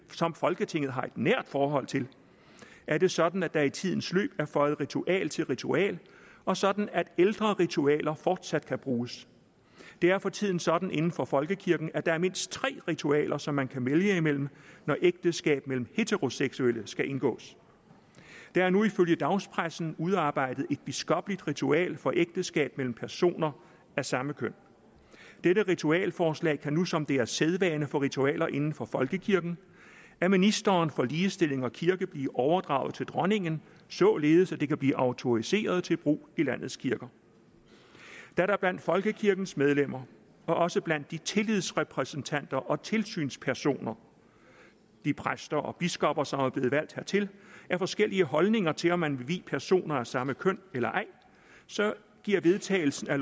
som folketinget har et nært forhold til er det sådan at der i tidens løb er føjet ritual til ritual og sådan at ældre ritualer fortsat kan bruges det er for tiden sådan inden for folkekirken at der er mindst tre ritualer som man kan vælge imellem når ægteskab mellem heteroseksuelle skal indgås der er nu ifølge dagspressen udarbejdet et biskoppeligt ritual for ægteskab mellem personer af samme køn dette ritualforslag kan nu som det er sædvane for ritualer inden for folkekirken af ministeren for ligestilling og kirke blive overdraget til dronningen således at det kan blive autoriseret til brug i landets kirker da der blandt folkekirkens medlemmer og også blandt de tillidsrepræsentanter og tilsynspersoner de præster og biskopper som er blevet valgt hertil er forskellige holdninger til om man vie personer af samme køn eller ej så giver vedtagelsen af